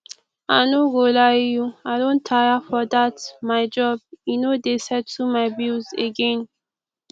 i no go lie you i don tire for dat my job e no dey settle my bills again